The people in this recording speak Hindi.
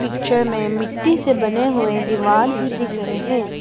पिक्चर में मिट्टी से बने हुए दीवार भी दिखा रहे है।